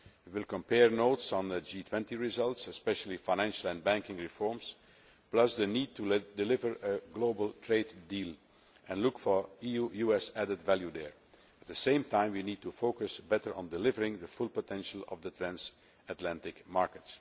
We will compare notes on the G20 results, especially financial and banking reforms and the need to deliver a global trade deal, and look for EU US added value there. At the same time, we need to focus more on delivering the full potential of the transatlantic market.